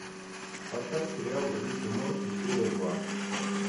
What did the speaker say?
поставь сериал рик и морти серия два